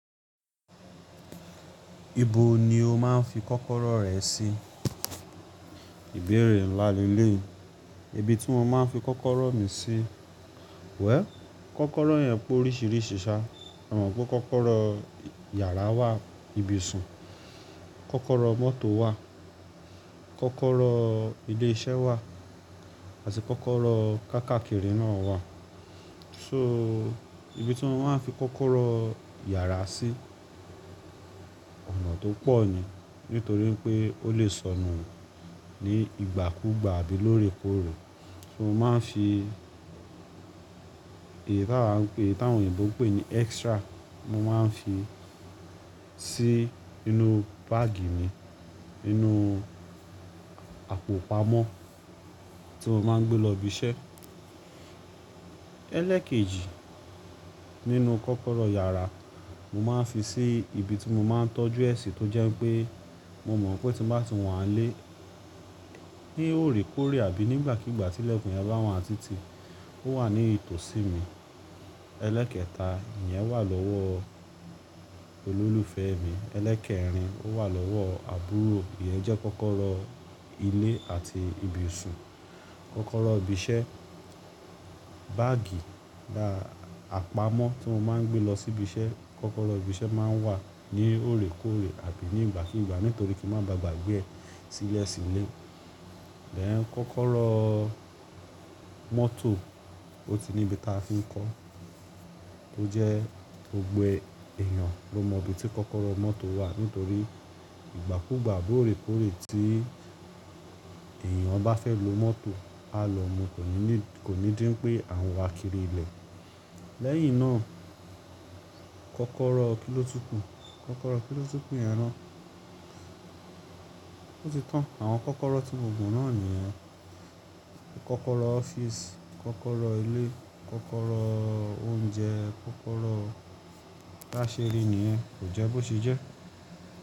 Ibo ni o máa ń fi kọ́kọ́rọ́ rẹ sí? Ìbéèrè ńlá leléyi Ibi tí mo máa ń fi kọ́kọ́rọ́ mi sí. Well, kọ́kọ́rọ́ yẹn pé oríṣiríṣi ṣá. Mo mọ̀ pé kọ́kọ́rọ́ yàrá wà, ibi iṣun, kọ́kọ́rọ́ mọ́tò wà, kọ́kọ́rọ́ ilé iṣẹ́ wà, àti kọ́kọ́rọ́ kákaàkiri náà wà. So ibi tí mo máa ń fi kọ́kọ́rọ́ yàrá sí, ọ̀nà tó pọ̀ ni nítorí pé ó lè sọnù ní ìgbàkúgbà àbí lórèkórè. So mo máa ń fi èyí tí àwọn oyinbò ń pè ní extra, mo máa ń fi sí inú báàgì mi, inú àpò pamọ́ tí mo máa ń gbé lọ ibi iṣẹ́. Ẹlẹ́ekeji nínú kọ́kọ́rọ́ yàrá, mo máa ń fi sí ibi tí mo máa ń tọ́jú ẹ ṣi tó jẹ́ pé mo mọ̀ pé tí bá ti wọ́n á lé ní òrékórè àbí nígbà kígbà tí lẹ́kùn yẹn bá wa ni titì, ó wà ní itòsí mi. Ẹlẹ́kẹta, ìyẹn wà lọ́wọ́ olólùfẹ́ mi. Ẹlẹ́kẹrin, ó wà lọ́wọ́ àbúrò. Ìyẹn jẹ́ kọ́kọ́rọ́ ilé àti ibi iṣun. Kọ́kọ́rọ́ ibi iṣẹ́, báàgì, bá àpamọ́ tí mo máa ń gbé lọ sí ibi iṣẹ́. Kọ́kọ́rọ́ ibi iṣẹ́ máa ń wà ní òrékórè àbí nígbàkígbà nítorí kí n máa ba gbàgbé ẹ sílẹ̀ sílé. Ẹ̀ẹ̀, kọ́kọ́rọ́ mọ́tò ó ti níbi táa fi ń kọ́. Ó jẹ́ gbogboẹ́ èèyàn ló mọ ibi tí kọ́kọ́rọ́ mọ́tò wà nítorí ìgbàkúgbà, òrékórè tí èèyàn bá fẹ́ lo mọ́tò, a lọ mú, kò ní dí wipé à n wà kiri ilẹ̀. Lẹ́yìn náà, kọ́kọ́rọ́ kíló tun kù? Kọ́kọ́rọ́ kíló tun kù yẹn ná? Ó ti tán. Àwọn kọ́kọ́rọ́ tí mo mọ̀ náà nìyẹn. Kọ́kọ́rọ́ ọ́fíìsì, kọ́kọ́rọ́ ilé, kọ́kọ́rọ́ oúnjẹ, kọ́kọ́rọ́ baṣeri nìyẹn. Kò jẹ́ bó se jẹ́?